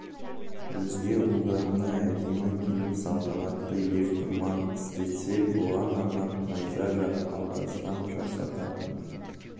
өзге ұлдарына әдемі киім салтанатты ертұрман істетсе бұған арнап найза жақ алдаспан жасататын